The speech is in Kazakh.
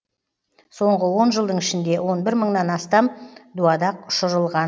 соңғы он жылдың ішінде он бір мыңнан астам дуадақ ұшырылған